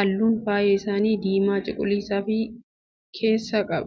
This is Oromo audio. halluun faaya isaaniis, diimaa cuqulisa of keessaa qaba.